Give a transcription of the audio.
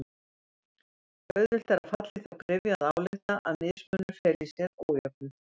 Auðvelt er að falla í þá gryfju að álykta að mismunur feli í sér ójöfnuð.